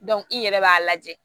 i yɛrɛ b'a lajɛ